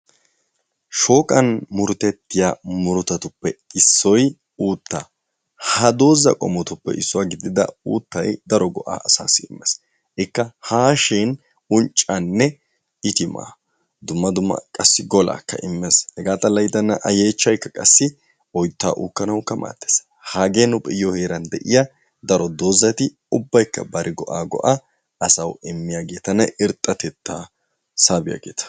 Shooqqan murutettiya murutattuppe issoy uuttaa. Ha doozaa qommotuppe issuwa gidida uuttay asa naatussi daro go"a immees. itimma dumma dumma gola, hega xalla g8dena a yechxhaykka qassi oytta uukkanawukka maaddees. hage nu be'iyaa heeran de'iyaageet8 daro doozari ubbaykka bari go"a go"a asaw immiyaagetanne irxxatetta saabiyaageeta.